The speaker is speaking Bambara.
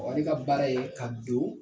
ale ka baara ye ka don